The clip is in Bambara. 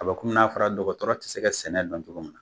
A bɛ kɔmi n'a fara dɔgɔtɔrɔ tɛ se ka sɛnɛ don cogo min na.